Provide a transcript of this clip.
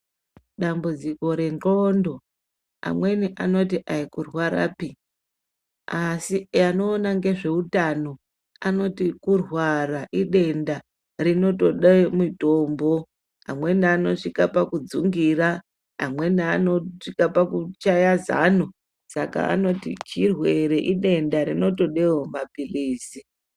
Dambudziko rendxondo amweni anoti aikurwarapi. Asi anoona ngezveutano anoti kurwara, idenda rinotode mitombo. Amweni anosvika pakudzungira, amweni anosvika pakushaya zano, saka anoti chirwere, idenda rinotodawo mapilizi.